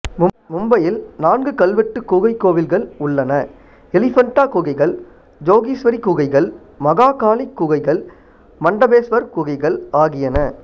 மும்பையில் நான்கு கல்வெட்டுக் குகைக்கோவில்கள் உள்ளன எலிஃபண்டா குகைகள் ஜோகீஸ்வரி குகைகள் மகாகாளி குகைகள் மண்டபேஸ்வர் குகைகள் ஆகியன